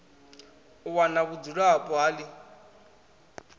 u wana vhudzulapo ha ḽi